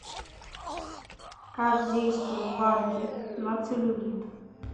как действуют банки на целлюлит